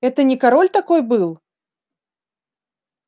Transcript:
это не король такой был